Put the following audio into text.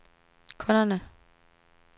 kunderne